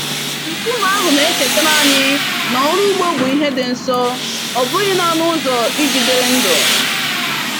Nkume ahụ na-echetara anyị na ọrụ ugbo bụ ihe dị nsọ, ọ bụghị naanị ụzọ iji dịrị ndụ.